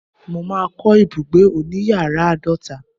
mo ma ko ibugbe oniyaara aadota